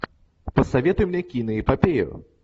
посоветуй мне киноэпопею